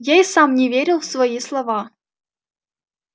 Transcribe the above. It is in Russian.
я и сам не верил в свои слова